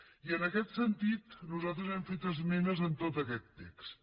i en aquest sentit nosaltres hem fet esmenes en tot aquest text